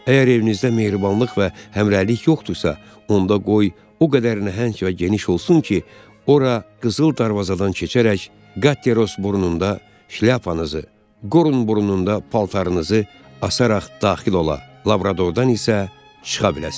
Əgər evinizdə mehribanlıq və həmrəylik yoxdursa, onda qoy o qədər nəhəng və geniş olsun ki, ora qızıl darvazadan keçərək, Qateros burnunda şlyapanızı, Qorun burnunda paltarınızı asaraq daxil ola, Labradordan isə çıxa biləsiz.